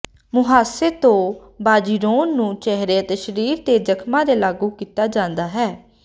ਮੁਹਾਸੇ ਤੋਂ ਬਾਜ਼ੀਰੋਨ ਨੂੰ ਚਿਹਰੇ ਅਤੇ ਸਰੀਰ ਤੇ ਜਖਮਾਂ ਤੇ ਲਾਗੂ ਕੀਤਾ ਜਾਂਦਾ ਹੈ